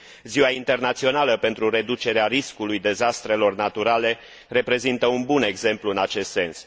Ziua internațională pentru reducerea riscului dezastrelor naturale reprezintă un bun exemplu în acest sens.